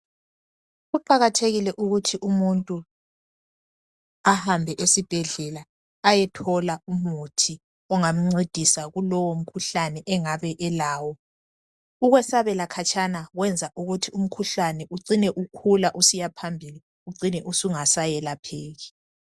Kuqakathekile ukuthi umuntu ahambe esibhedlela ayethola umuthi ongamncedisa kulowo mkhuhlane engabe elawo. Ukwesabela khatshana kwenza ukuthi umkhuhlane ucine ukhula usiya phambili ucine usungasayelapheki.